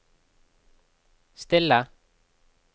stille